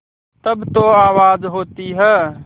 तब जो आवाज़ होती है